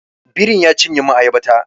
Birin ya cinye min ayaba ta